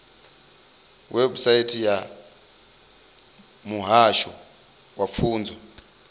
website ya muhasho wa pfunzo